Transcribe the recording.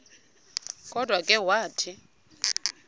kodwa ke wathi